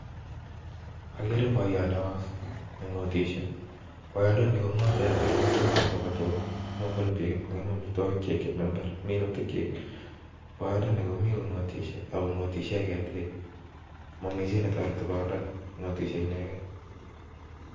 Ageere boiyot neo nengotishie, boyondoni kongotee chotok yon simabwa tugaa, sikongemak amitwogiik chekikim en imbar, boyondoni komi kongotisie, ak ko ngote kityok momi chi netoretii boyondoni, ngotishie ineken